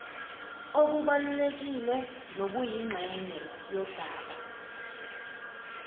obubalulekile nobuyingxenye yodaba